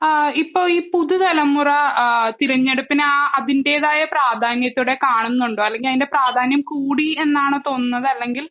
ആഹ് ഇപ്പോൾ ഈ പുതുതലമുറ ആഹ് തിരഞ്ഞെടുപ്പിനെ ആ അതിൻ്റെതായ പ്രാധാന്യത്തോടെ കാണുന്നുണ്ടോ അല്ലെങ്കിൽ അതിൻ്റെ പ്രാധാന്യം കൂടി എന്നാണോ തോന്നുന്നത് അല്ലെങ്കിൽ